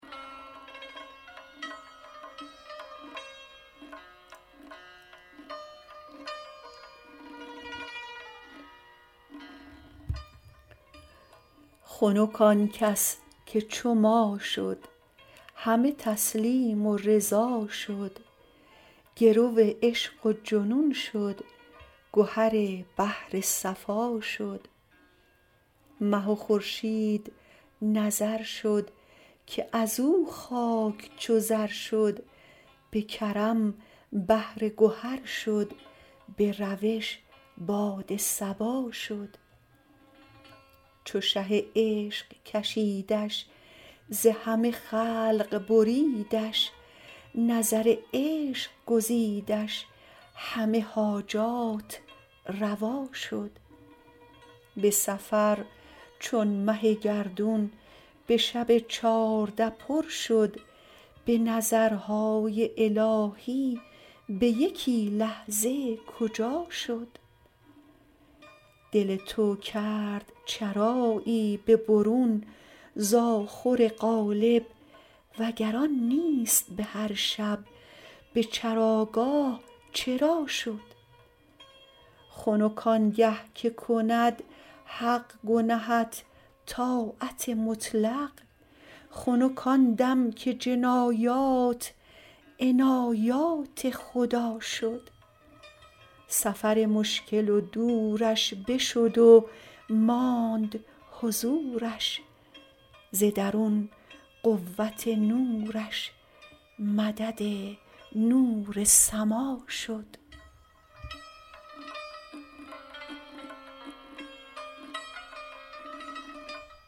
خنک آن کس که چو ما شد همه تسلیم و رضا شد گرو عشق و جنون شد گهر بحر صفا شد مه و خورشید نظر شد که از او خاک چو زر شد به کرم بحر گهر شد به روش باد صبا شد چو شه عشق کشیدش ز همه خلق بریدش نظر عشق گزیدش همه حاجات روا شد به سفر چون مه گردون به شب چارده پر شد به نظرهای الهی به یکی لحظه کجا شد دل تو کرد چرایی به برون ز آخر قالب وگر آن نیست به هر شب به چراگاه چرا شد خنک آن گه که کند حق گنهت طاعت مطلق خنک آن دم که جنایات عنایات خدا شد سفر مشکل و دورش بشد و ماند حضورش ز درون قوت نورش مدد نور سما شد